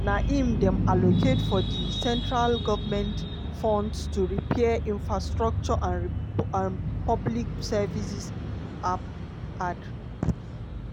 na im dem allocate from di central goment funds to repair infrastructure and public services ap add.